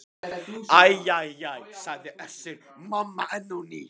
Æ æ æ, sagði Össur-Mamma enn á ný.